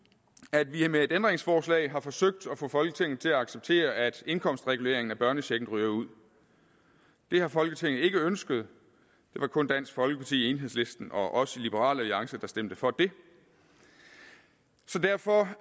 at vi med et ændringsforslag har forsøgt at få folketinget til at acceptere at indkomstreguleringen af børnechecken ryger ud det har folketinget ikke ønsket det var kun dansk folkeparti enhedslisten og os i liberal alliance der stemte for det derfor